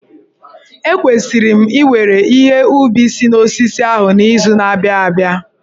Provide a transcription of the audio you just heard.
Ekwesịrị m iwere ihe ubi si n'osisi ahụ n'izu na-abịa abịa.